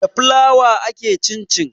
Da flour ake cincin